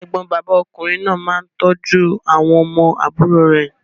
Ẹ̀gbọ́n bàbá ọkùnrin náà máa ń tọ́jú àwọn ọmọ àbúrò rẹ̀.